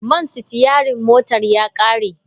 Man sitiyarin motar ya kare.